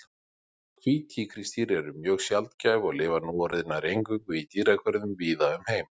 Hvít tígrisdýr eru mjög sjaldgæf og lifa núorðið nær eingöngu í dýragörðum víða um heim.